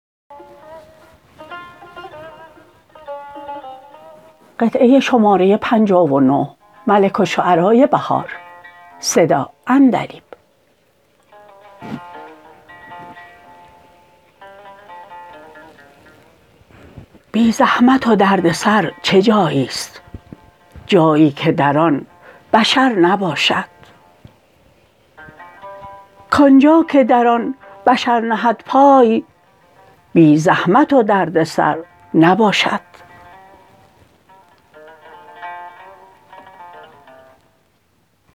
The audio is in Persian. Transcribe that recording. بی زحمت و دردسر چه جاییست جایی که در آن بشر نباشد کآنجا که در آن بشر نهد پای بی زحمت و دردسر نباشد